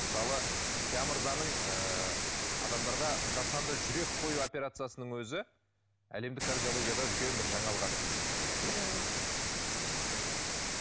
мысалы мырзаның ыыы адамдарға жасанды жүрек қою операциясының өзі әлемдік кардиологияда үлкен бір жаңалық ашты десек болады иә иә иә мхм